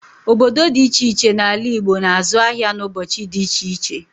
Obodo dị ịche ịche n'ala Igbo na-azụ ahịa n'ụbọchị dị ịche ịche.